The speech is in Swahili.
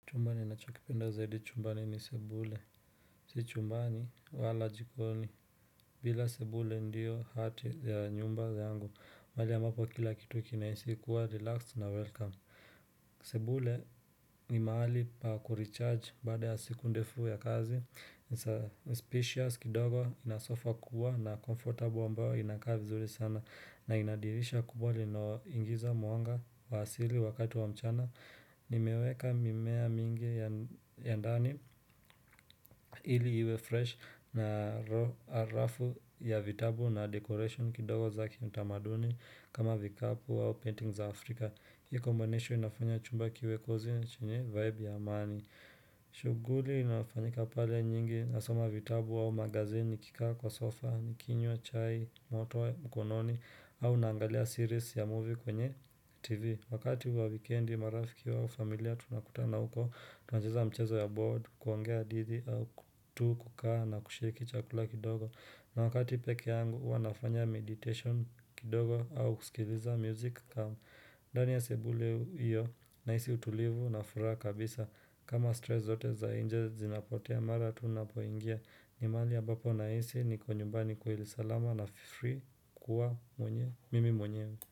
Chumba ninachokipenda zaidi chumbani ni sebule, si chumbani wala jikoni, bila sebule ndio hati ya nyumba yangu, mahali ambapo kila kitu kinahisi kuwa relaxed na welcome, sebule ni mahali pa kulicharge baada ya siku ndefu ya kazi, It's a spacious kidogo ina sofa kuwa na comfortable ambayo inakaa vizuri sana na inadirisha kubwa linalo ingiza mwanga wa asili wakati wa mchana Nimeweka mimea mingi ya ndani ili iwe fresh na rafu ya vitabu na decoration kidogo zake ni tamaduni kama vikapu au paintings za afrika Hii combination inafanya chumba kiwekoze na chenye vibe ya amani shughuli inayofanyika pale nyingi, nasoma vitabu au magazini, nikikaa kwa sofa, nikinywa chai moto mkononi, au naangalia series ya movie kwenye TV Wakati wa wekendi marafiki wa familia tunakutana huko, tunacheza mchezo ya board, kuongea hadithi au tu kukaa na kusheki chakula kidogo na wakati peke yangu, huwa nafanya meditation kidogo au kusikiliza music kama ndani ya sebule hiyo nahisi utulivu na furaha kabisa kama stress zote za inje zinapotea mara tu napoingia ni mahali ambapo nahisi niko nyumbani kweli salama na free kuwa mimi mwenyewe.